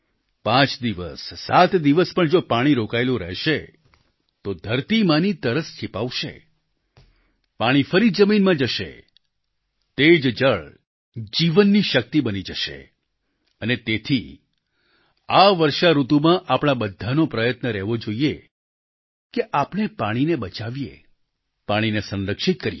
પાંચ દિવસસાત દિવસ પણ જો પાણી રોકાયેલું રહેશે તો ધરતી માંની તરસ છીપાવશે પાણી ફરી જમીનમાં જશે તે જ જળ જીવનની શક્તિ બની જશે અને તેથી આ વર્ષાઋતુમાં આપણા બધાનો પ્રયત્ન રહેવો જોઈએ કે આપણે પાણીને બચાવીએ પાણીને સંરક્ષિત કરીએ